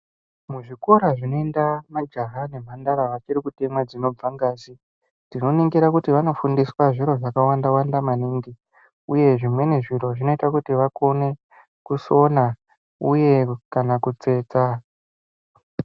Muzvikora zvinoenda majaha nemhandara vachiri kutemwa dzinobva ngazi tinoningira kuti vachiri kufundiswa zviro zvakawanda wanda maningi uye zvimweni zviro zvinoita vakone kusona uye kutsetsa.